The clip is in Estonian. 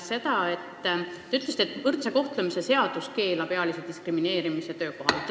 Te ütlesite, et võrdse kohtlemise seadus keelab ealise diskrimineerimise töökohal.